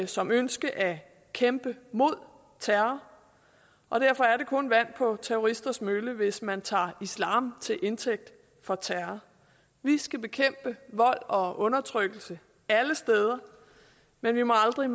som ønske at kæmpe mod terror og derfor er det kun vand på terroristers mølle hvis man tager islam til indtægt for terror vi skal bekæmpe vold og undertrykkelse alle steder men vi må aldrig